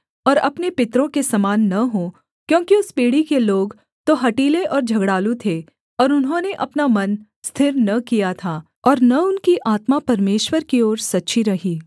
और अपने पितरों के समान न हों क्योंकि उस पीढ़ी के लोग तो हठीले और झगड़ालू थे और उन्होंने अपना मन स्थिर न किया था और न उनकी आत्मा परमेश्वर की ओर सच्ची रही